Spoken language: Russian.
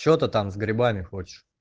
что ты там с грибами хочешь